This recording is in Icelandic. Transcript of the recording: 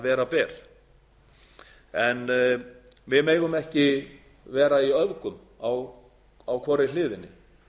vera ber en við megum ekki vera í öfgum á hvorri hliðinni